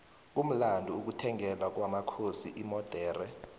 kumlando ukuthengelwa kwomakhosi imodexe